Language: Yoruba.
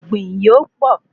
Ọ̀gbìn yóò pọ